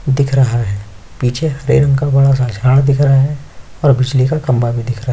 दिख रहा है पीछे हरे रंग का बड़ा सा झाड़ दिख रहा है और बिजली का खंभा भी दिख रहा है।